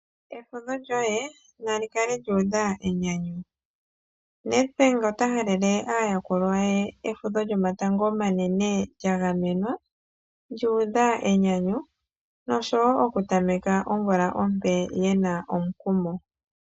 Efudho lyoye nali kale lyuudha enyanyu. Nedbank ota halele aayakulwa ye efudho lyomatango omanene lyagamenwa, lyuudha enyanyu nosho woo okutameka omvula ompe yena omukumo.